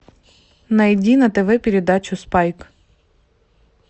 найди на тв передачу спайк